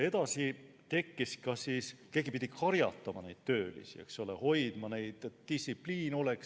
Edasi, keegi pidi neid töölisi karjatama, eks ole, et distsipliini oleks.